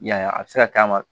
Y'a ye a bɛ se ka k'a ma